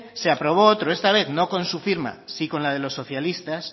se aprobó otro esta vez no con su firma sí con la de los socialistas